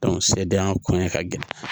sɛdenya kɔnɛ ka gɛlɛn